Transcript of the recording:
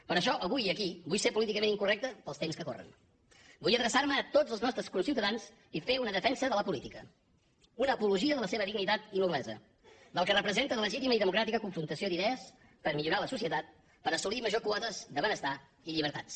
per això avui aquí vull ser políticament incorrecte pels temps que corren vull adreçar me a tots els nostres conciutadans i fer una defensa de la política una apologia de la seva dignitat i noblesa del que representa de legítima i democràtica confrontació d’idees per a millorar la societat per assolir majors quotes de benestar i llibertats